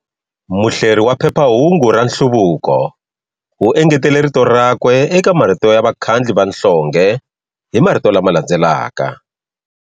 Muhleri wa phephahungu ra Nhluvuko u engetele rito rakwe eka marito ya vakhandli va nhlonge hi marito lama landzelaka.